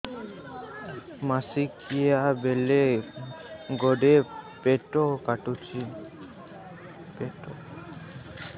ମାସିକିଆ ବେଳେ ବଡେ ପେଟ କାଟୁଚି